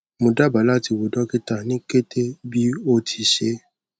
mo daba lati wo dokita ni kete bi o ti ṣee